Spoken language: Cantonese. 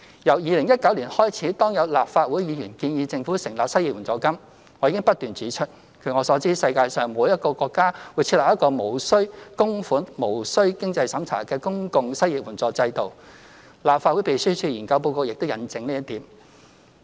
由2019年開始，當有立法會議員建議政府成立失業援助金，我已不斷指出，據我所知，世界上並沒有一個國家會設立一個無須供款及無須經濟審查的公共失業援助制度，立法會秘書處研究報告亦印證這一點。